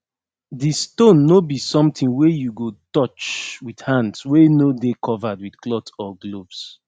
the stone no be sometin wey you go touch with hands wey no dey covered with cloth or gloves